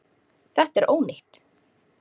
Þetta er ónýtt.